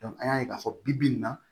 an y'a ye k'a fɔ bi bi in na